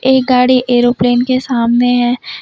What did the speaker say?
एक गाड़ी ऐरोप्लेन के सामने है।